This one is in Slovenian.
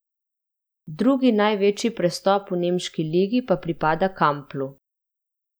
Drugi največji prestop v nemški ligi pa pripada Kamplu.